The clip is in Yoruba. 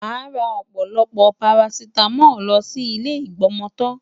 Màá ra ọ̀pọ̀lọpọ̀ parasítámọ̀ lọ sí ilé ìgbọmọtọ́.